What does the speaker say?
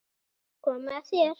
Komið að þér.